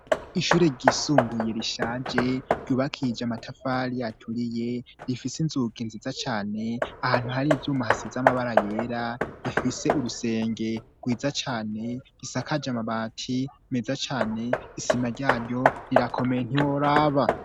Ishure ryisumbuye rishaje ryubakije amatafari yaturiye rifise inzuka nziza cane ahantu hari ivyumuhasi z'amabara yera rifise urusenge rwiza cane gisakaje amabati meza cane isima ryaryo rirakomeye ntiworaba.